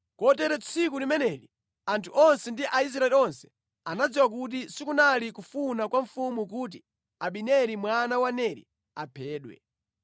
Kotero tsiku limeneli anthu onse ndi Aisraeli onse anadziwa kuti sikunali kufuna kwa mfumu kuti Abineri mwana wa Neri aphedwe.